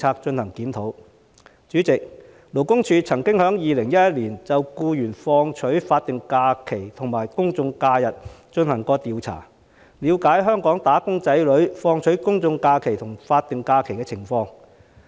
主席，勞工處曾經在2011年就僱員放取法定假日和公眾假期進行調查，了解香港"打工仔女"放取公眾假期和法定假日的情況。